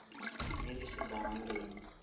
mediese behandeling